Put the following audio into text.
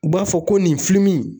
U b'a fɔ ko nin